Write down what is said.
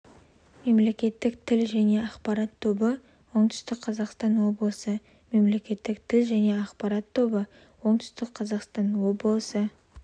мемлекеттік тіл және ақпарат тобы оңтүстік қазақстан облысы мемлекеттік тіл және ақпарат тобы оңтүстік қазақстан облысы